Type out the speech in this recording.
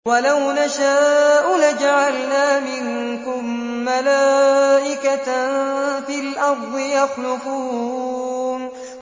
وَلَوْ نَشَاءُ لَجَعَلْنَا مِنكُم مَّلَائِكَةً فِي الْأَرْضِ يَخْلُفُونَ